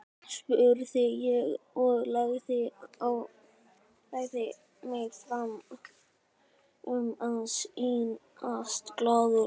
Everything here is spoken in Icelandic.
spurði ég og lagði mig fram um að sýnast glaður.